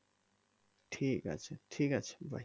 ঠিক আছে ঠিক আছে bye